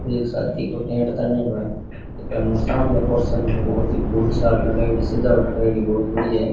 एक शादी को टेंट तानेडो है सामने सजावट करेड़ी बहुत बढ़िया है।